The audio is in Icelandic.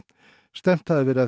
stefnt hafi verið